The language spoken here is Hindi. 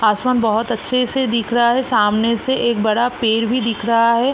आसमान बहोत अच्छे से दिख रहा है सामने से एक बड़ा पेड़ भी दिख रहा है।